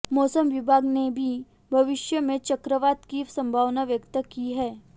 मौसम विभाग ने भी भविष्य में चक्रवात की संभावना व्यक्त की है